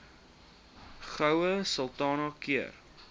goue sultana keur